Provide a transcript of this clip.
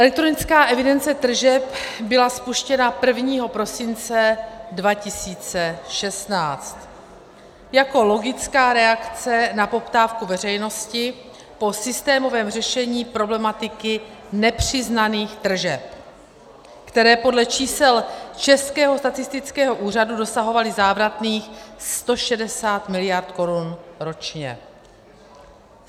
Elektronická evidence tržeb byla spuštěna 1. prosince 2016 jako logická reakce na poptávku veřejnosti po systémovém řešení problematiky nepřiznaných tržeb, které podle čísel Českého statistického úřadu dosahovaly závratných 160 miliard korun ročně.